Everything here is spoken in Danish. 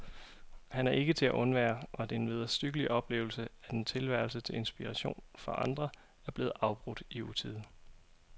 Han er ikke til at undvære, og det er en vederstyggelig oplevelse, at en tilværelse, til inspiration for andre, er blevet afbrudt i utide.